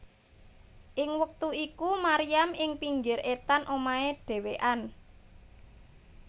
Ing wektu iku Maryam ing pinggir etan omahe dhewéan